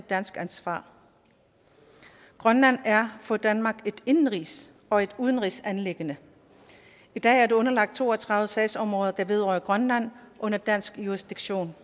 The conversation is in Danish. dansk ansvar grønland er for danmark et indenrigs og et udenrigsanliggende i dag er det underlagt to og tredive sagsområder der vedrører grønland under dansk jurisdiktion